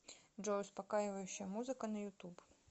джой успокаивающая музыка на ютуб